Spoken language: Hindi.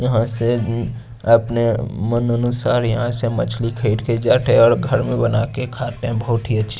यहाँ से उम् अपने मन अनुसार यहाँ से मछ्ली फेट के जाते है और घर पे बना के खाते है बहोत अच्छी --